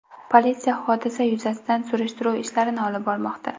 Politsiya hodisa yuzasidan surishtiruv ishlarini olib bormoqda.